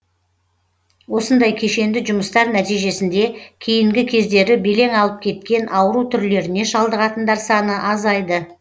осындай кешенді жұмыстар нәтижесінде кейінгі кездері белең алып кеткен ауру түрлеріне шалдығатындар саны азайды